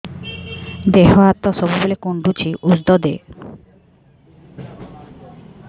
ଦିହ ହାତ ସବୁବେଳେ କୁଣ୍ଡୁଚି ଉଷ୍ଧ ଦେ